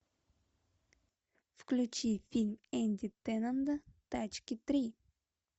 включи фильм энди теннонда тачки три